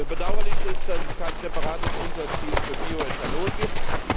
Bedauerlich ist, dass es kein separates Unterziel für Bioethanol gibt.